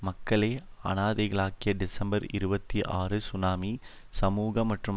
மக்களை அனாதைகளாக்கிய டிசம்பர் இருபத்தி ஆறு சுனாமி சமூக மற்றும்